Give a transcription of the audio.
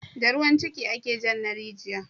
Da ruwan ciki ake jan na rijiya